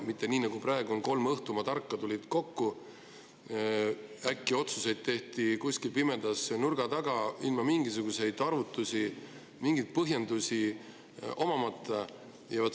Mitte nii, nagu praegu oli, kui kolm õhtumaa tarka tulid kokku, tehti otsused kuskil pimedas ja nurga taga, ilma igasuguste arvutuste ja põhjendusteta.